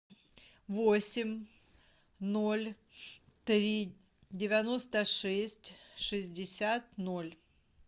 восемь ноль три девяносто шесть шестьдесят ноль